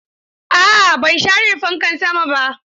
A'a ban share fankan sama ba.